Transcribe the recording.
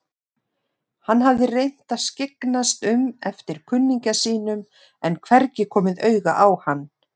Hann hafði reynt að skyggnast um eftir kunningja sínum en hvergi komið auga á hann.